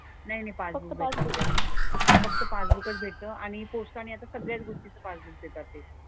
नाही नाही पासबुक भेटतं आपल्याला तिथे. फक्त पासबुकच भेटतं आणि पोस्टाने आता सगळ्याच गोष्टीचं पासबुक देतात ते.